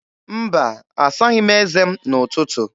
Mba, asaghị m eze m n'ụtụtụ.